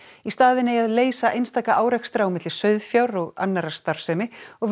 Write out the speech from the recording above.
í staðinn eigi að leysa einstaka árekstra á milli sauðfjár og annarrar starfsemi og